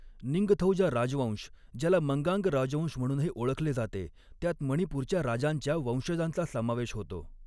निंगथौजा राजवंश ज्याला मंगांग राजवंश म्हणूनही ओळखले जाते, त्यात मणिपूरच्या राजांच्या वंशजांचा समावेश होतो.